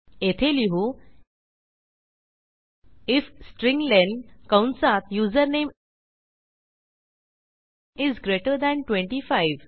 येथे लिहू IF strlen कंसातusername इस ग्रेटर थान 25